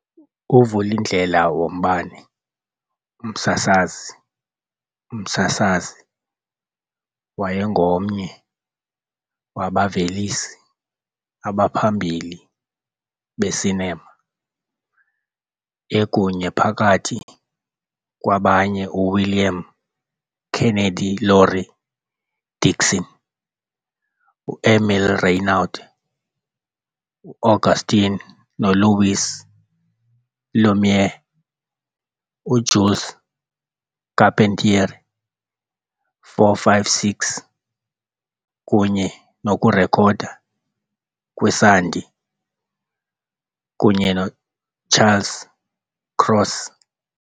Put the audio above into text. Uvulindlela wombane, umsasazi, umsasazi, wayengomnye wabavelisi abaphambili be-cinema, ekunye, phakathi kwabanye, uWilliam Kennedy Laurie Dickson, u-Émile Reynaud, uAuguste noLouis Lumière, uJules Carpentier, 4, 5, 6 kunye nokurekhoda kwesandi, kunye Charles Cross.